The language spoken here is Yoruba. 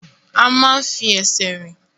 A máa ń fi ẹsẹ̀ rìn.